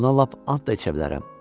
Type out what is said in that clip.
Buna lap and da içə bilərəm.